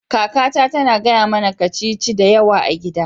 Kakata tana gaya mana kacici da yawa a gida